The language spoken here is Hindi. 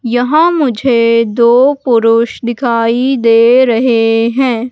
यहां मुझे दो पुरुष दिखाई दे रहे हैं।